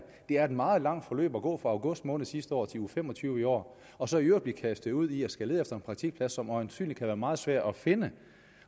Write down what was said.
det er et meget langt forløb at gå fra august måned sidste år til uge fem og tyve i år og så i øvrigt blive kastet ud i at skulle lede efter en praktikplads som øjensynlig kan være meget svær at finde